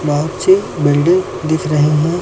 बहुत सी बिल्डिंग दिख रही हैं।